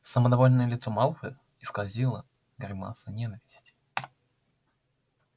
самодовольное лицо малфоя исказила гримаса ненависти